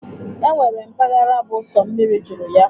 E nwere mpaghara bụ sọ mmiri juru ya.